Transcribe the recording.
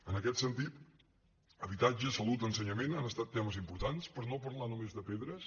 en aquest sentit habitatge salut ensenyament han estat temes impor·tants per no parlar només de pedres